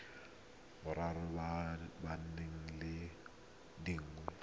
borwa ba ba leng dingwaga